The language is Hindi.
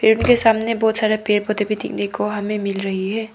पेड़ के सामने बहोत सारा पेड़ पौधे भी देखने को हमें मिल रही है।